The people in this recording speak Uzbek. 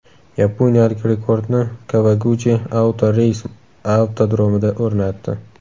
Yaponiyalik rekordni Kawaguchi Auto Race avtodromida o‘rnatdi.